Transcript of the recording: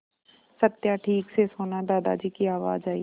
सत्या ठीक से सोना दादाजी की आवाज़ आई